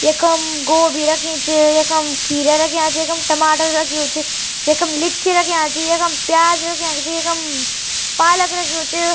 यखम गोभी रखी च यखम खीरा रख्या छी यखम टमाटर रख्यू च यखम लिच्ची रख्या ची यखम प्याज रख्याक जी यखम पालक रख्यू च।